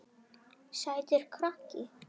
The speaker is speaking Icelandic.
Sætur krakki!